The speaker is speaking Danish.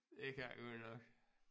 Det kan det godt nok